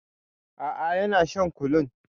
A'a yana shan kulun.